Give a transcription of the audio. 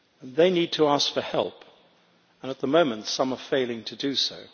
They need to ask for help, and at the moment some are failing to do so.